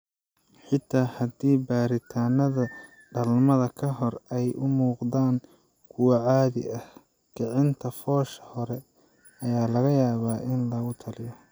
Xitaa haddii baaritaanada dhalmada ka hor ay u muuqdaan kuwo caadi ah, kicinta foosha hore ayaa laga yaabaa in lagu taliyo.